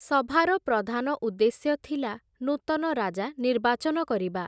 ସଭାର ପ୍ରଧାନ ଉଦ୍ଦେଶ୍ୟ ଥିଲା, ନୂତନ ରାଜା ନିର୍ବାଚନ କରିବା ।